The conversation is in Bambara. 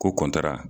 Ko kɔntira